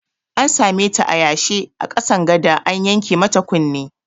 An sameta a yanshe a ƙasan gada an yanke mata kunne